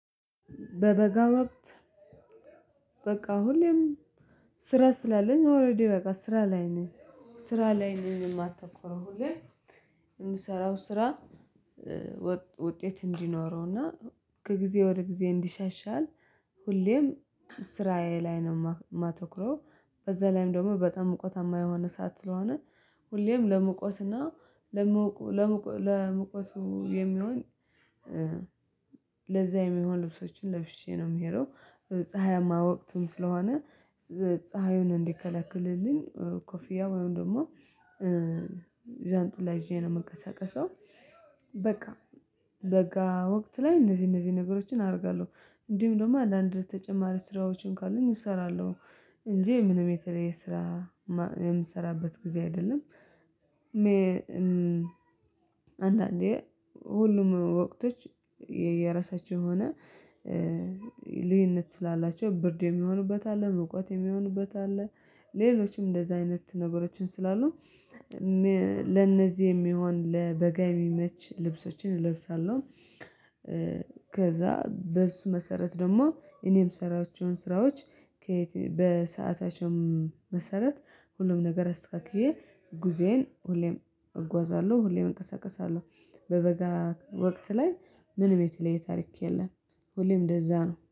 በበጋ ወቅት። በቃ ሁሌም ስራ ስላለኝ ኦሬዲ በቃ ስራ ላይ ነው ስራ ላይ ነው የማታኮረው ሁሌ የምሰራው ስራ። ውጤት እንዲኖረው እና ከጊዜ ወደ ጊዜ እንዲሸሻል ሁሌም ስራዬ ላይ ነው የማተኩረው በዛ ላይም ደግሞ በጣም ሙቀታማ የሆነ ሰዓት ስለሆነ ሁሌም ለሙቀት ለምቆ ለመውቀቱ የሚሆን ለዛ የሚሆን ልብሶችን ለብሼ ነው የምሄደው። ፀሀያማ ወቅትም ስለሆነ ፀሀዩን እንዲከለክልልኝ ኮፊያ ወይም ደግሞ ዣንጥላ ይዤ ነው የምንቀሳቀሰው። በቃ በጋ ወቅት ላይ እነዚህ እነዚህ ነገሮችን አደርጋለሁ እንዲሁም ደግሞ አንዳንድ ተጨማሪ ስራዎችን ካሉኝ እሰራለሁ እንጂ ምንም የተለየ ስራ የምሰራበት ጊዜ አይደለም። አንዳንዴ ሁሉም ወቅቶች የራሳችው የሆነ ልዩነት ስላላቸው ብርድ የሚሆኑበት አለ ሙቀት የሚሆኑበት አለ ሌሎችም እንደዛ አይነት ነገሮችም ስላሉ ለነዚህ የሚሆን ለበጋ የሚመች ልብሶችን እለብሳለሁ። ከዛ በእሱ መሰረት ደግሞ እኔም የምሰራቸውን ስራዎች ከየት በሰአታችው መሰረት ሁሉም ነገር አስተካክዬ ጉዞዬን ሁሌም እጓዛለሁ ሁሌም እንቀሳቀሳለሁ። በበጋ ወቅት ላይ ምንም የተለየ ታሪክ የለም። ሁሌም እንደዛ ነው